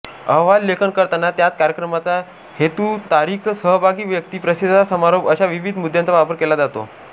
अहवाल लेखन करताना त्यात कार्यक्रमाचा हेतूतारीखसहभागी व्यक्ती प्रतिसाद समारोप अशा विविध मुद्यांचा वापर केला जातो